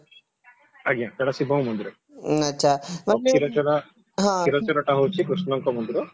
ସେଇଟା ଶିବଙ୍କ ମନ୍ଦିର ଆଉ କ୍ଷୀରଚୋରା କ୍ଷୀରଚୋରା ଟା ହଉଛି କୃଷ୍ଣଙ୍କ ମନ୍ଦିର